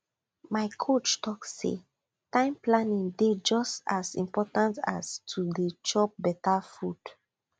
my coach talk say time planning dey just as important as to dey chop better food